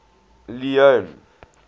leone